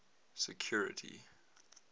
security